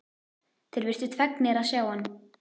Þeir virtust fegnir að sjá hann.